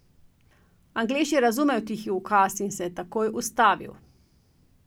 Anglež je razumel tihi ukaz in se je takoj ustavil.